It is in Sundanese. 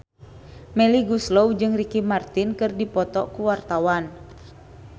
Melly Goeslaw jeung Ricky Martin keur dipoto ku wartawan